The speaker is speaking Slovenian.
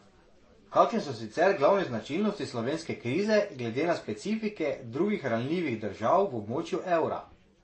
Kakšne so sicer glavne značilnosti slovenske krize glede na specifike drugih ranljivih držav v območju evra?